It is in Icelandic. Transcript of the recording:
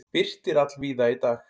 Birtir allvíða í dag